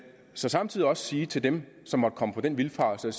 så samtidig også sige til dem som måtte komme på den vildfarelse